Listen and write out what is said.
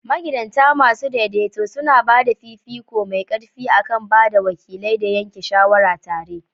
Magidanta masu daidaito suna ba da fifiko mai ƙarfi a kan ba da wakilai da yanke shawara tare.